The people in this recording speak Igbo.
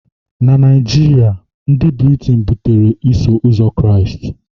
na Naijiria, ndị Britein butere Iso Ụzọ Kraịst..